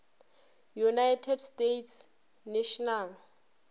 united states national